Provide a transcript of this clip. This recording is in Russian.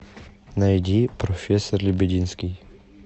найди профессор лебединский